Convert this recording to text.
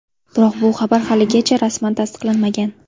Biroq bu xabar haligacha rasman tasdiqlanmagan.